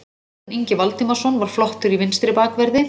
Þórarinn Ingi Valdimarsson var flottur í vinstri bakverði.